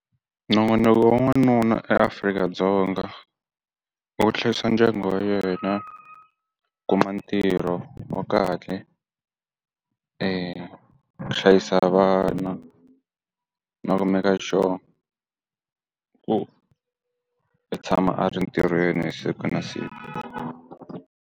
Nongonoko wa n'wanuna eAfrika-Dzonga, i ku hlayisa ndyangu wa yena, kuma ntirho wa kahle, ku hlayisa vana, na ku make-a sure ku i tshama a ri ntirhweni siku na siku.